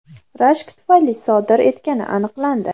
rashk tufayli sodir etgani aniqlandi.